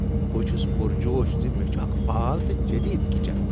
بہٕ چھس پرجوش ز مےٚ چھ اکھ فعال تہٕ جدید کچن۔